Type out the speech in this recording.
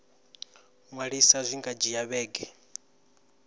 ṅwalisa zwi nga dzhia vhege